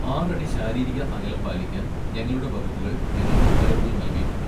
ആറടി ശാരീരിക അകലം പാലിക്കാൻ ഞങ്ങളുടെ വകുപ്പുകൾ ഞങ്ങൾക്ക് ഉത്തരവുകൾ നൽകിയിട്ടുണ്ട്.